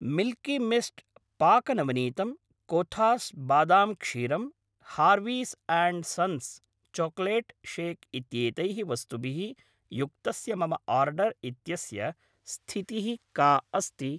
Milky Mist पाकनवनीतम्, कोथास् बादाम् क्षीरम्, Harvey's and Sons chocolate shake इत्येतैः वस्तुभिः युक्तस्य मम आर्डर् इत्यस्य स्थितिः का अस्ति?